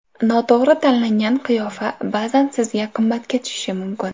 Noto‘g‘ri tanlangan qiyofa ba’zan sizga qimmatga tushishi mumkin.